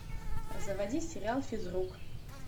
заводи сериал физрук